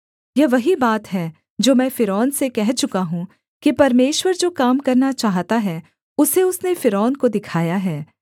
यह वही बात है जो मैं फ़िरौन से कह चुका हूँ कि परमेश्वर जो काम करना चाहता है उसे उसने फ़िरौन को दिखाया है